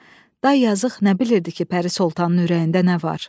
Day yazıq nə bilirdi ki, Pəri Sultanın ürəyində nə var?